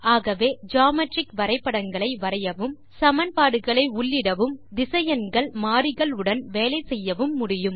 ஆகவே ஜியோமெட்ரிக் வரைபடங்களை வரையவும் சமன்பாடுகளை உள்ளிடவும் திசையன்கள் மாறிகள் உடன் வேலை செய்யவும் முடியும்